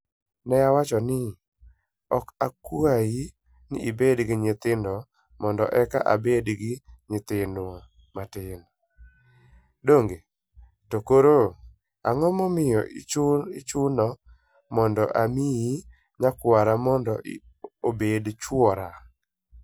Ne awacho ni, 'Ok akwayi ni ibed gi nyithindo mondo eka abed gi nyaminwa matin, donge? To koro, ang'o momiyo ichuna mondo amiyi nyakwara mondo obed chwora?